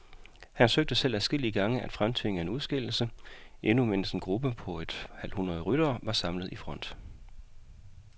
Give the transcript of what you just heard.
Han søgte selv adskillige gange at fremtvinge en udskillelse, endnu mens en gruppe på et halvt hundrede ryttere var samlet i front.